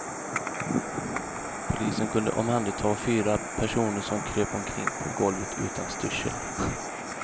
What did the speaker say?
Polisen kunde omhänderta fyra personer som kröp omkring på golvet utan styrsel.